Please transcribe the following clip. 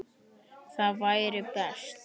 Það væri best.